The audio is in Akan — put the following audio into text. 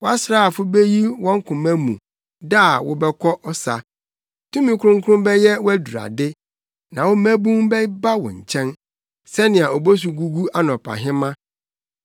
Wʼasraafo beyi wɔn koma mu da a wobɛkɔ ɔsa. Tumi kronkron bɛyɛ wʼadurade na wo mmabun bɛba wo nkyɛn sɛnea obosu gugu anɔpahema.